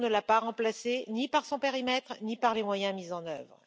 Triton ne l'a pas remplacée, ni par son périmètre, ni par les moyens mis en œuvre.